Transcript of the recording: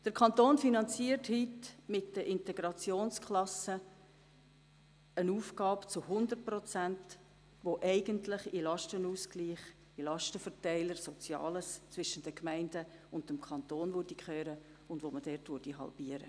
Der Kanton finanziert heute mit den Integrationsklassen eine Aufgabe zu 100 Prozent, die eigentlich in den Lastenausgleich, in den Lastenverteiler «Soziales» zwischen dem Kanton und den Gemeinden, gehört und halbiert werden sollte.